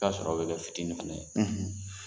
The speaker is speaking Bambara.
I bɛ t'a sɔrɔ o bɛ kɛ fitinin fana ye